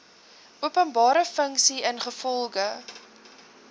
openbare funksie ingevolge